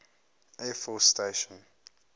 air force station